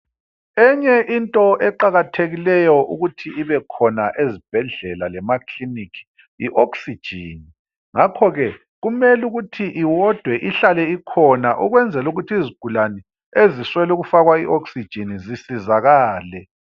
Eyinye into eqakathekileyo ukuthi ibekhona ezibhedlela lemakiliniki ioxygen ngakho ke kumele ukuthi iwodwe ihlale ikhona ukwenzelukuthi izigulane eziswelukufakwa ioxygen zisizakale.